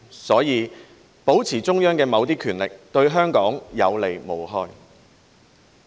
所以，保持中央的某些權力，對香港有利無害。